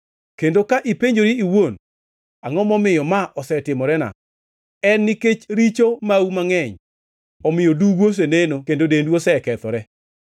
Kendo ka ipenjori iwuon, “Angʼo momiyo ma osetimorena?” En nikech richo mau mangʼeny omiyo dugu oseneno kendo dendu osekethore.